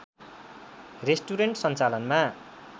restaurant सञ्चालनमा